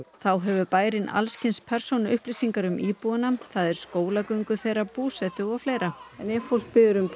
þá hefur bærinn alls kyns persónuupplýsingar um íbúana það er skólagöngu þeirra búsetu og fleira ef fólk biður um